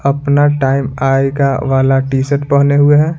अपना टाइम आएगा वाला टी-शर्ट पहने हुए हैं।